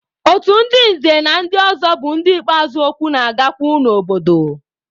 Ndị otu nze na ndị ọzọ bụ ndị ikpeazụ okwu na-agakwu n'obodo.